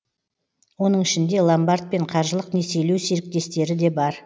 оның ішінде ломбард пен қаржылық несиелеу серіктестіктері де бар